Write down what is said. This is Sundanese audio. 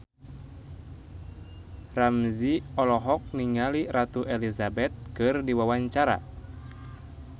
Ramzy olohok ningali Ratu Elizabeth keur diwawancara